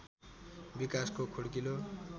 विकासको खुड्किलो